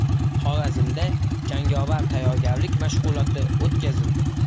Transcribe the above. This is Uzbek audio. Xorazmda jangovar tayyorgarlik mashg‘uloti o‘tkazildi.